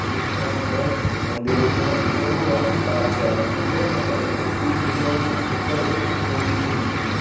ये चित्र मा हमते एक बड़ू मंदिर दिख्येणु जे कु रंग लाल छ मंदिरम हमते एक त्रिशूल छ दिख्येणु और भित्तर एक मूर्ति भी छ दिख्येणी।